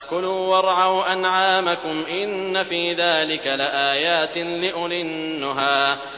كُلُوا وَارْعَوْا أَنْعَامَكُمْ ۗ إِنَّ فِي ذَٰلِكَ لَآيَاتٍ لِّأُولِي النُّهَىٰ